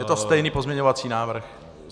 Je to stejný pozměňovací návrh.